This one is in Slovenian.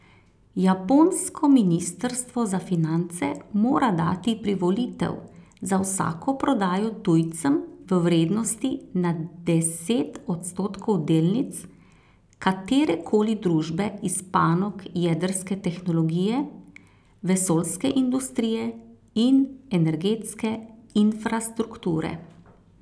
Japonsko ministrstvo za finance mora dati privolitev za vsako prodajo tujcem v vrednosti nad deset odstotkov delnic katerekoli družbe iz panog jedrske tehnologije, vesoljske industrije in energetske infrastrukture.